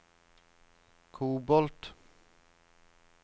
kobolt